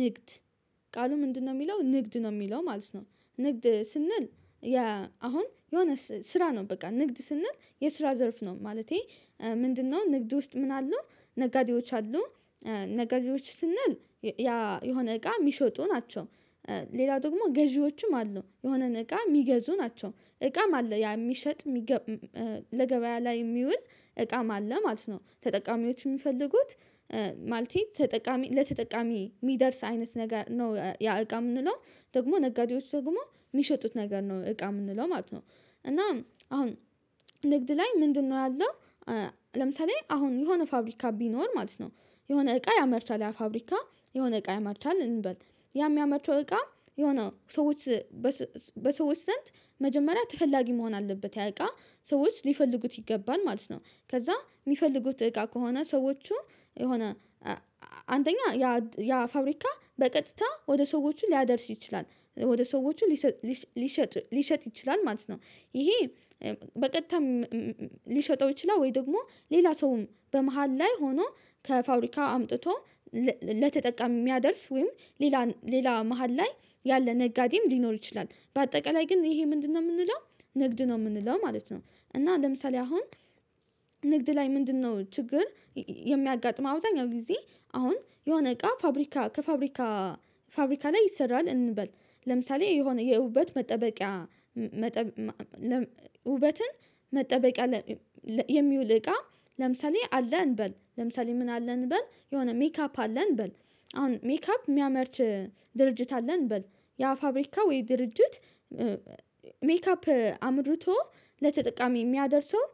ንግድ ቃሉ ምንድነው? የሚለው ንግድ ነው የሚለው ማለት ነው። ንግድ ስንል። አሁን የሆነ ስራ ነው በቃ ንግድ ስንል የስራ ዘርፍ ነው። ማለቴ ምንድነው? ንግድ ውስጥ ምን አሉ ነጋዴዎች አሉ። ነጋዴዎች ስንል ያ የሆነ እቃ የሚሸጡ ናቸው። ሌላ ደግሞ ገዢዎችም አሉ የሆነን እቃ የሚገዙ ናቸው እቃም አለ ያ የሚሸጥ። ለገበያ ላይ የሚውል እቃም አለ ማለት ነው። ተጠቃሚዎች የሚፈልጉት ማለቴ ተጠቃሚ ለተጠቃሚ የሚደርስ አይነት ነገር ነው። ያ እቃ የምንለው ደግሞ ነጋዴዎች ደግሞ የሚሸጡት ነገር ነው እቃ የምንለው ማለት ነው። እና አሁን ንግድ ላይ ምንድነው ያለው? ለምሳሌ አሁን የሆነ ፋብሪካ ቢኖር ማለት ነው። የሆነ እቃ ያመርታል ያ ፋብሪካ የሆነ እቃ ያመርታል እንበል ያ የሚያመርተው እቃ የሆነ ሰዎች በሰዎች ዘንድ መጀመሪያ ተፈላጊ መሆን አለበት ያዕቃ ሰዎች ሊፈልጉት ይገባል ማለት ነው። ከዛ የሚፈልጉት እቃ ከሆነ ሰዎቹ የሆነ አንደኛ ያ ያ ፋብሪካ በቀጥታ ወደ ሰዎችን ሊያደርስ ይችላል ወደ ሰዎቹ ሊሰጥ ሊሸጥ ሊሸጥ ይችላል ማለት ነው። ይሄ በቀጥታ ሊሸጠው ይችላል? ወይ ደግሞ ሌላ ሰውም በመሃል ላይ ሆኖ ከፋብሪካ አምጥቶ ለተጠቃሚ የሚያደርስ ወይም ሌላ ሌላ መሃል ላይ ያለ ነጋዴም ሊኖር ይችላል። በአጠቃላይ ግን ይሄ ምንድነው? የምንለው ንግድ ነው የምንለው ማለት ነው። እና ለምሳሌ አሁን ንግድ ላይ ምንድነው? ችግር የሚያጋጥመው አብዛኛው ጊዜ። አሁን የሆነ እቃ ፋብሪካ ከፋብሪካ ፋብሪካ ላይ ይሰራል እንበል ለምሳሌ የሆነ የውበት መጠበቂያ ውበትን መጠበቂያ የሚውል እቃ ለምሳሌ አለን እንበል ለምሳሌ ምን አለን እንበል የሆነ ሜካፕ አለን እንበል። አሁን ሜካፕ የሚያመርት ድርጅት አለን እንበል። ያ ፋብሪካ ወይ ድርጅት ሜካፕ አምርቶ ለተጠቃሚ የሚያደርሰው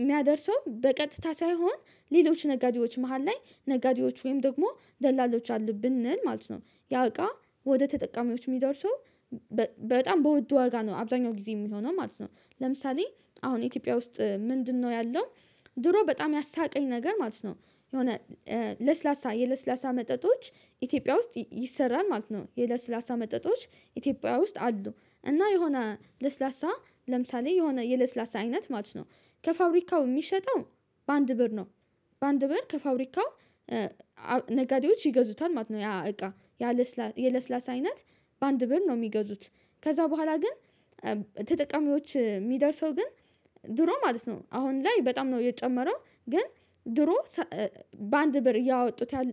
የሚያደርሰው በቀጥታ ሳይሆን ሌሎች ነጋዴዎች መሃል ላይ ነጋዴዎች ወይም ደግሞ ደላሎች አሉ ብንል ነው። ያ እቃ ወደ ተጠቃሚዎች የሚደርሰው በጣም በውድ ዋጋ ነው አብዛኛው ጊዜ የሚሆነው ማለት ነው። ለምሳሌ አሁን ኢትዮጵያ ውስጥ ምንድነው ያለው? ድሮ በጣም ያሳቀኝ ነገር ማለት ነው። የሆነ ለስላሳ የለስላሳ መጠጦች ኢትዮጵያ ውስጥ ይሰራል ማለት ነው የለስላሳ መጠጦች ኢትዮጵያ ውስጥ አሉ እና የሆነ ለስላሳ ለምሳሌ የሆነ የለስላሳ አይነት ማለት ነው። ከፋብሪካው የሚሸጠው በአንድ ብር ነው። በአንድ ብር ከፋብሪካው ነጋዴዎች ይገዙታል ማለት ነው። ያ እቃ ያ ለስላሳ የለስላሳ አይነት በአንድ ብር ነው የሚገዙት። ከዛ በኋላ ግን ተጠቃሚዎች የሚደርሰው ግን ድሮ ማለት ነው አሁን ላይ በጣም ነው የጨመረው ግን። ድሮ በአንድ ብር እያወጡት ያለ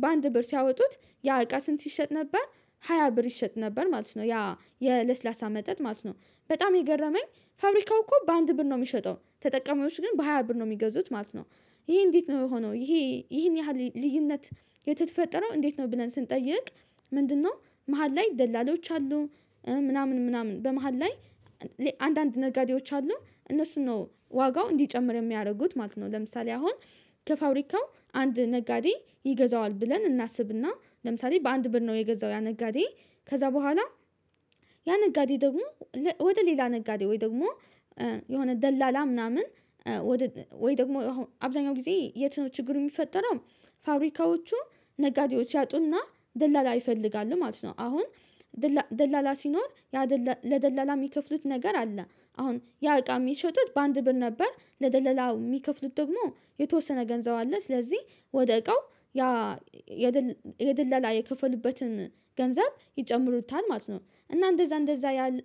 በአንድ ብር ሲያወጡት ያ እቃ ስንት ሲሸጥ ነበር? ሃያ ብር ይሸጥ ነበር ማለት ነው ያ የለስላሳ መጠጥ ማለት ነው። በጣም የገረመኝ ፋብሪካው እኮ በአንድ ብር ነው የሚሸጠው ተጠቃሚዎች ግን በሃያ ብር ነው የሚገዙት ማለት ነው። ይሄ እንዴት ነው የሆነው? ይሄ ይሄን ያህል ልዩነት። የተፈጠረው እንዴት ነው ብለን ስንጠይቅ። ምንድነው? መሃል ላይ ደላሎዎች አሉ። ምናምን ምናምን በመሃል ላይ አንዳንድ ነጋዴዎች አሉ እነሱን ነው ዋጋው እንዲጨምር የሚያደርጉት ማለት ነው። ለምሳሌ አሁን ከፋብሪካው አንድ ነጋዴ ይገዛዋል ብለን እናስብና ለምሳሌ በአንድ በር ነው የገዛው ያ ነጋዴ። ከዛ በኋላ ያ ነጋዴ ደግሞ ወደ ሌላ ነጋዴ ወይ ደግሞ የሆነ ደላላ ምናምን ወይ ደግሞ አብዛኛው ጊዜ የት ነው ችግሩ የሚፈጠረው? ፋብሪካዎቹ ነጋዴዎች ያጡና ደላላ ይፈልጋሉ ማለት ነው። አሁን ደላላ ሲኖር ለደላላ የሚከፍሉት ነገር አለ። አሁን ያ እቃ የሚሸጡት በአንድ ብር ነበር ለደለላው የሚከፍሉት ደግሞ የተወሰነ ገንዘብ አለ ስለዚህ ወደ እቃው ያ የደለላ የከፈሉበትን ገንዘብ ይጨምሩታል ማለት ነው። እና እንደዛ እንደዛ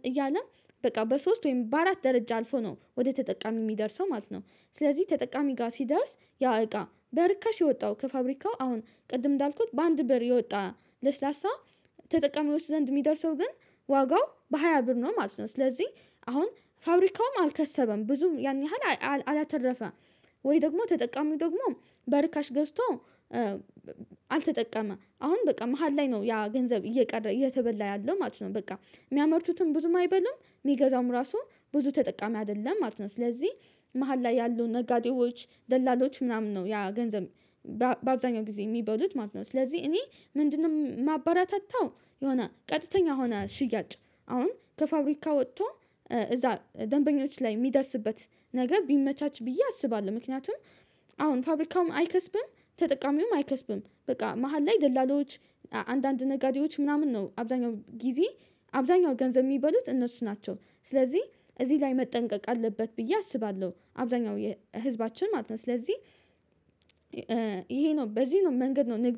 እያለ በቃ በሶስት ወይም በአራት ደረጃ አልፎ ነው ወደ ተጠቃሚ የሚደርሰው ማለት ነው። ስለዚህ ተጠቃሚ ጋር ሲደርስ ያ እቃ በርካሽ የወጣው ከፋብሪካው አሁን ቅድም እንዳልኩት በአንድ ብር የወጣ ለስላሳ ተጠቃሚዎች ዘንድ የሚደርሰው ግን ዋጋው በሃያ ብር ነው ማለት ነው። ስለዚህ አሁን ፋብሪካውም አልከሰበም ብዙም ያን ያህል አላተረፈም። ወይ ደግሞ ተጠቃሚው ደግሞ በርካሽ ገዝቶ አልተጠቀመ አሁን በቃ መሃል ላይ ነው ያ ገንዘብ እየቀረ እየተበላ ያለው ማለት ነው። በቃ የሚያመርቱትም ብዙም አይበሉም የሚገዛውም ራሱ ብዙ ተጠቃሚ አይደለም ማለት ነው። ስለዚህ መሃል ላይ ያሉ ነጋዴዎች ደላሎች ምናምን ነው ያ ገንዘብ በአብዛኛው ጊዜ የሚበሉት ማለት ነው። ስለዚህ እኔ ምንድነው ማበራታታው? የሆነ ቀጥተኛ ሆነ ሽያጭ አሁን ከፋብሪካ ወጥቶ እዛ ደንበኞች ላይ የሚደርስበት ነገር ቢመቻች ብዬ አስባለሁ። ምክንያቱም አሁን ፋብሪካውም አይከስብም ተጠቃሚውም አይከስብም በቃ መሃል ላይ ደላላዎች አንዳንድ ነጋዴዎች ምናምን ነው አብዛኛው ጊዜ አብዛኛው ገንዘብ የሚበሉት እነሱ ናቸው። ስለዚህ እዚህ ላይ መጠንቀቅ አለበት ብዬ አስባለሁ። አብዛኛው ህዝባችን ማለት ነው። ስለዚህ ይሄ ነው በዚህ ነው መንገድ ነው ንግድ